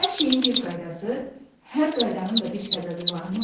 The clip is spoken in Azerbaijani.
Hər şeyin bir qaydası, hər qaydanın da bir səbəbi varmı?